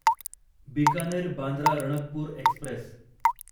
Bikaner Bandra Ranakpur Express